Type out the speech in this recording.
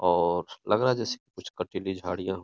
और लग रहा है जैसे कुछ कटीली झडियां हो --